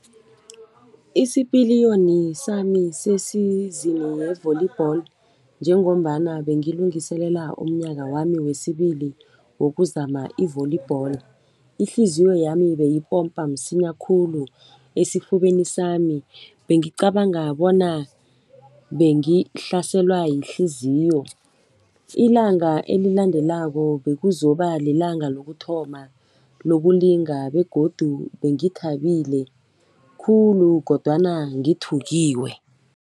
Isipiliyoni sami se-season ye-volleyball njengombana belungiselela umnyaka wami wesibili wokuzama i-volleyball. Ihliziyo yami beyipompa msinya khulu esifubeni sami, bengicabanga bona bengihlaselwa yihliziyo. Ilanga elilandelako bekuzoba lilanga lokuthoma lokulinga begodu bengithabile khulu kodwana ngithuthukiwe.